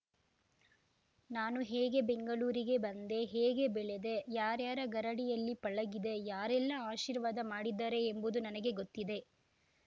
ನಾನು ಹೇಗೆ ಬೆಂಗಳೂರಿಗೆ ಬಂದೆ ಹೇಗೆ ಬೆಳೆದೆ ಯಾರ್ಯಾರ ಗರಡಿಯಲ್ಲಿ ಪಳಗಿದೆ ಯಾರೆಲ್ಲ ಆಶೀರ್ವಾದ ಮಾಡಿದ್ದಾರೆ ಎಂಬುದು ನನಗೆ ಗೊತ್ತಿದೆ